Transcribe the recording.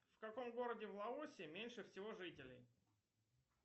в каком городе в лаосе меньше всего жителей